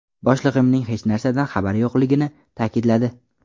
Boshlig‘imning hech narsadan xabari yo‘qligini ta’kidladi.